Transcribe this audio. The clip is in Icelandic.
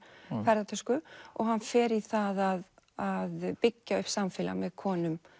ferðatösku og hann fer í það að byggja upp samfélag með konum